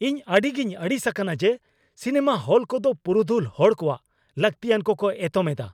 ᱤᱧ ᱟᱹᱰᱤᱜᱮᱧ ᱟᱹᱲᱤᱥ ᱟᱠᱟᱱᱟ ᱡᱮ ᱥᱤᱱᱮᱢᱟ ᱦᱚᱞ ᱠᱚᱫᱚ ᱯᱩᱨᱩᱫᱷᱩᱞ ᱦᱚᱲ ᱠᱚᱣᱟᱜ ᱞᱟᱹᱠᱛᱤᱭᱟᱱ ᱠᱚᱠᱚ ᱮᱛᱚᱢ ᱮᱫᱟ ᱾